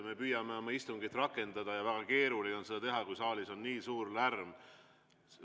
Me püüame istungit rakendada ja väga keeruline on seda teha, kui saalis on nii suur lärm.